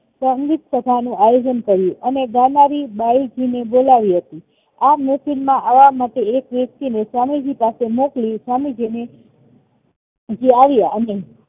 પંડિત સભાનું આયોજન કર્યું અને ગાનારી બાયજીને બો લાવી હતી આ મિટિંગ માં આવવા માટે એક વ્યક્તિને સ્વામીજી પાસે મોકલી સ્વામીજીને આવ્યા અને